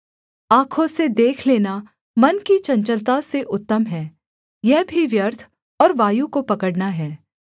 आँखों से देख लेना मन की चंचलता से उत्तम है यह भी व्यर्थ और वायु को पकड़ना है